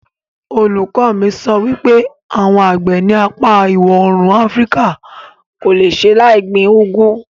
Olùkọ mi sọ wípé àwọn àgbẹ̀ ní apá ìwọ̀òrùn afríkà kò le ṣe láì gbin úgú